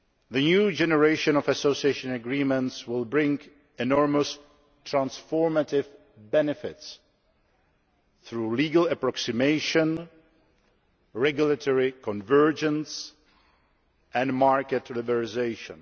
The new generation of association agreements will bring enormous transformative benefits through legal approximation, regulatory convergence and market liberalisation.